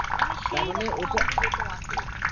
মানে সেই আম দিবে তুমাকে